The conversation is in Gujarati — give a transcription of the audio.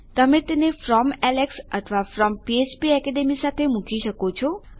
તમે તેને ફ્રોમ એલેક્સ અથવા ફ્રોમ ફ્પેકેડમી સાથે મૂકી શકો છો